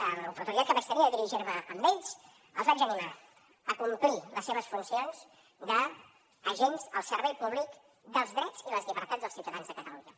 en l’oportunitat que vaig tenir de dirigir me a ells els vaig animar a complir les seves funcions d’agents al servei públic dels drets i les llibertats dels ciutadans de catalunya